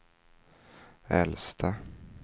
äldsta